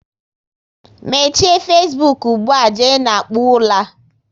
Mechie Fesbuk ugbua, jee na kpụọ ula!